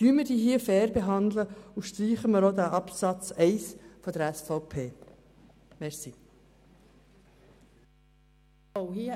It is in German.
Wir wollen sie fair behandeln und müssen dafür auch diesen Absatz 1 der SVP streichen.